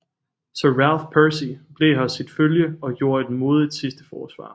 Sir Ralph Percy blev hos sit følge og gjorde et modig sidste forsvar